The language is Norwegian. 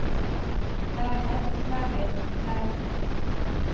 leger leger leger